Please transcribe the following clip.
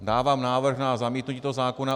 Dávám návrh na zamítnutí toho zákona.